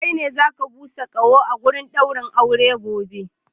Kai ne za ka busa kaho a wajen daurin aure gobe!